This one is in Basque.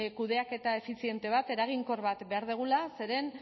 kudeaketa efiziente bat eraginkor bat behar dugula zeren